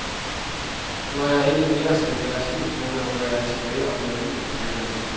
Når jeg ikke mere skal være cheftræner, rykker jeg tilbage og blive juniortræner igen.